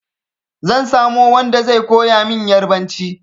Zan samo wanda zai koya min Ƴarbanci.